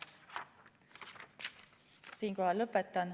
Siinkohal lõpetan.